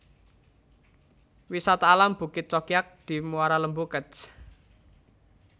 Wisata Alam Bukit Cokiak di Muara Lembu Kec